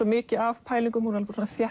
mikið af pælingum hún er